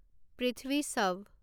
Prithvi শৱ